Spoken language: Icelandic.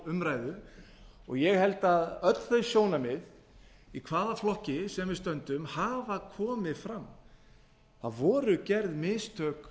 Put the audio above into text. umræðu og ég held að öll þau sjónarmið í hvaða flokki sem við stöndum hafa komið fram það voru gerð mistök